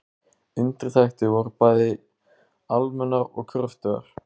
Undirtektir voru bæði almennar og kröftugar.